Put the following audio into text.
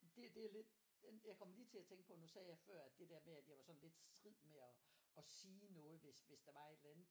Det det jo lidt. Jeg kom lige til at tænke på at nu sagde jeg før at jeg var sådan strid med at sige noget hvis der var et eller andet